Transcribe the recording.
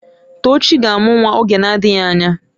Tochi ga-amụ nwa oge na-adịghị anya.